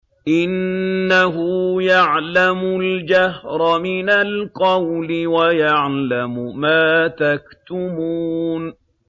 إِنَّهُ يَعْلَمُ الْجَهْرَ مِنَ الْقَوْلِ وَيَعْلَمُ مَا تَكْتُمُونَ